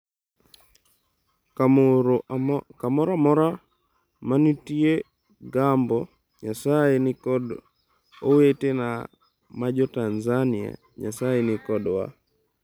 Kamoro amora ma nitie gombo, Nyasaye ni kod owetena ma jo-Tanzania, Nyasaye ni kodwa.”